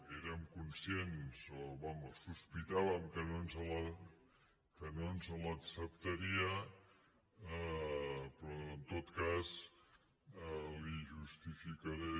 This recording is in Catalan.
érem conscients o vaja sospitàvem que no ens les acceptaria però en tot cas li justificaré